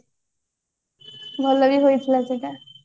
ଭଲ ବି ହେଇଥିଲା ସେଟା